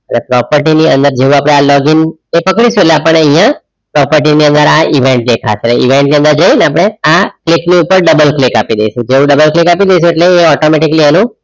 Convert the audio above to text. એટલે property ની અંદર જેવા આપણે આ login કરીશુ એટલે આપણ ને અહીંયા property ની અંદર આ event દેખાશે event ની જેને આપણે આ click ની ઉપર double click આપી દેઇશુ તો જેઉ double click આપી દેઇશુ એટલે એ automatically